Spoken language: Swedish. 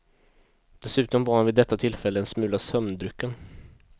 Dessutom var han vid detta tillfälle en smula sömndrucken.